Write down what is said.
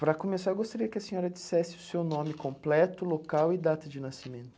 Para começar, eu gostaria que a senhora dissesse o seu nome completo, local e data de nascimento.